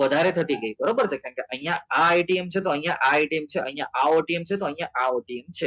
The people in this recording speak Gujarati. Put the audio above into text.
વધારે થતી કે બરાબર છે કારણ કે અહીંયા અહીંયા આ ટીમ છે તો અહીંયા છે તો અહીંયા આ OTM છે તો અહીંયા આ OTM છે